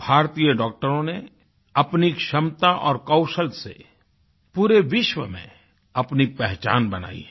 भारतीय डॉक्टरों ने अपनी क्षमता और कौशल से पूरे विश्व में अपनी पहचान बनायी है